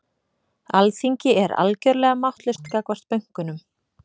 Alþingi er algjörlega máttlaust gagnvart bönkunum